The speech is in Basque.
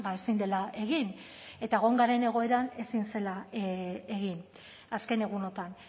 ezin dela egin eta egon garen egoeran ezin zela egin azken egunotan